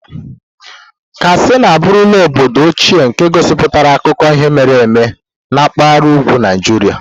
Katsina abụrula obodo ochie nke gosipụtara akụkọ ihe mere eme nke mpahara ugwu Naijiria.